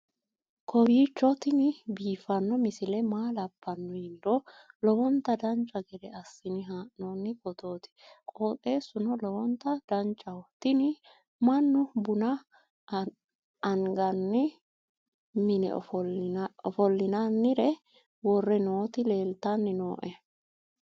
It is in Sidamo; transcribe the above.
kowiicho tini biiffanno misile maa labbanno yiniro lowonta dancha gede assine haa'noonni foototi qoxeessuno lowonta danachaho. tini mannu buna anganni mine ofollinanire wore nooti leeltanni nooe